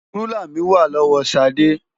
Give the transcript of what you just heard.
Rúlà mi wà lọ́wọ́ Ṣadé.